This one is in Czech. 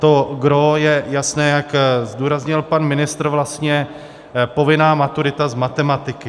To gros je jasné, jak zdůraznil pan ministr, vlastně povinná maturita z matematiky.